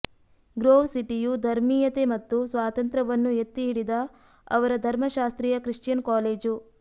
grove ಸಿಟಿಯು ಧರ್ಮೀಯತೆ ಮತ್ತು ಸ್ವಾತಂತ್ರ್ಯವನ್ನು ಎತ್ತಿಹಿಡಿದ ಅವರ ಧರ್ಮಶಾಸ್ತ್ರೀಯ ಕ್ರಿಶ್ಚಿಯನ್ ಕಾಲೇಜು